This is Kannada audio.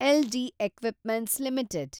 LG equipments limited